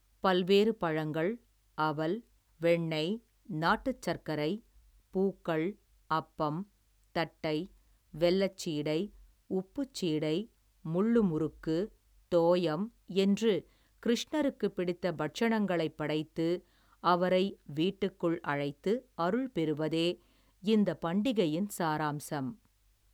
பல்வேறு பழங்கள், அவல், வெண்ணெய், நாட்டுச்சர்க்கரை, பூக்கள், அப்பம், தட்டை, வெல்லச் சீடை, உப்புச் சீடை, முள்ளு முறுக்கு, தோயம் என்று கிருஷ்ணருக்கு பிடித்த பட்சணங்களைப் படைத்து, அவரை வீட்டுக்குள் அழைத்து, அருள் பெறுவதே, இந்தப் பண்டிகையின் சாராம்சம்.